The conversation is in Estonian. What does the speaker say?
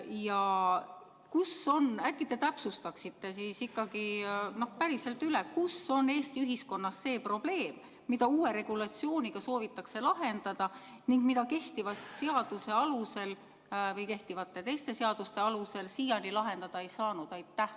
Ja kus on – äkki te täpsustaksite ikkagi üle – Eesti ühiskonnas see probleem, mida uue regulatsiooniga soovitakse lahendada ning mida kehtiva seaduse alusel või kehtivate teiste seaduste alusel siiani lahendada ei saanud?